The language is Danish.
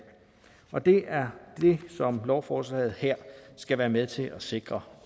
det er det som lovforslaget her skal være med til at sikre